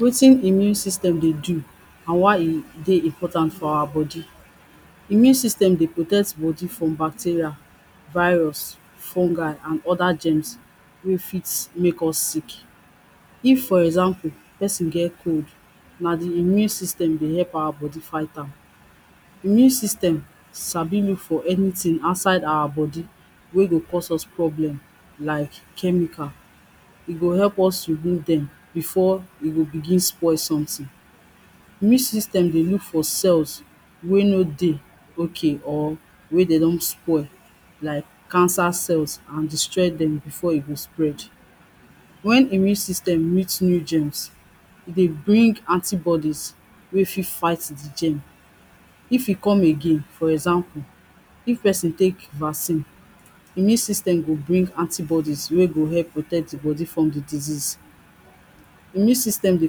Wetin immune system dey do, and why e dey important for our body? immune system dey protect body from bacteria, virus, fungi and oda germs wey fit make us sick, if for example, person get cold na di immune system dey help our body fight am, immune system sabi look for anything outside our body wey go cause us problem. Like chemical, e go help us remove dem before e go begin spoil something. immune system dey look for cells wey no dey okay, or wey dem don spoil like cancer cells, and destroy dem before e go spread. Wen immune system meet new germs, e dey bring anti-bodies wey fi fight di germs, if e come again. For example if person take vaccine, immune system go bring anti-bodies wey go help protect di body from di disease, immune system dey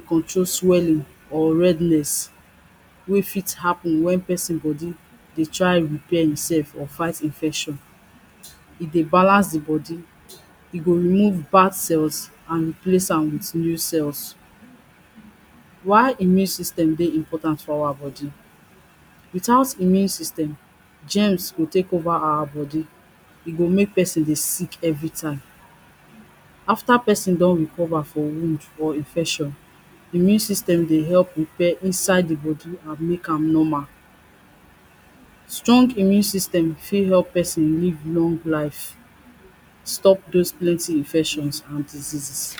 control swelling or redness wey fit happen wen person body dey try repair himself or fight infection. E dey balance di body, e go remove bad cells and replace am with new cells. Why immune system dey important for our body, without immune system, germs go take over our body, e go make person dey sick every time. After person don recover for wound or infection, immune system dey help repair inside di body and make am normal. Strong immune system fi help person live long life, stop those plenty infections and diseases.